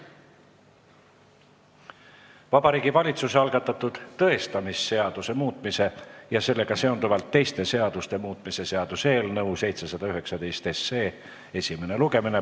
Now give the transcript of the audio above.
Vabariigi Valitsuse algatatud tõestamisseaduse muutmise ja sellega seonduvalt teiste seaduste muutmise seaduse eelnõu 719 esimene lugemine.